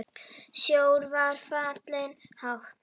Sjór var fallinn hátt.